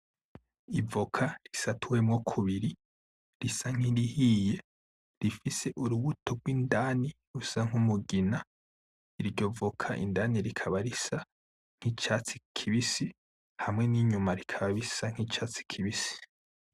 Ivoka isatuwemo kubiri risa nkirihiye rifise urubuto gwindani rusa nkumugina iryo voka indani rikaba risa nkicatsi kibisi hamwe n'inyuma rikaba risa nkicatsi kibisi .